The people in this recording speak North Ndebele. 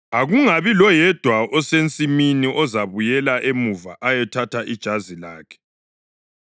Akungabi loyedwa osensimini ozabuyela emuva ukuyathatha ijazi lakhe.